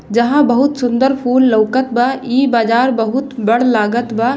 जहां बहुत सुंदर फूल लोकत बा इ बाजार बहुत बड़ लागत बा।